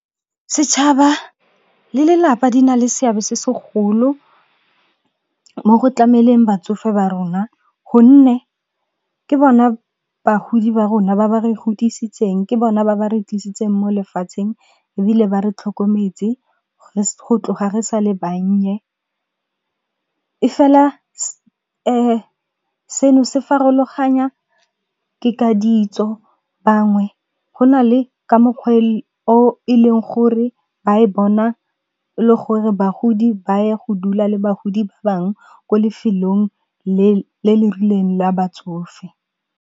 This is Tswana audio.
Setšhaba le lelapa di na le seabe se segolo mo go tlameleng batsofe ba rona, gonne ke bona bagodi ba rona ba ba re godisitseng, ke bona ba ba re tlisitseng mo lefatsheng, ebile ba re tlhokometse ga re sa le bannye. E fela seno se farologanya ke ka ditso, bangwe go na le ka mokgwa o e leng gore ba e bona e le gore bagodi ba ye go dula le bagodi ba bang ko lefelong le le rileng la batsofe.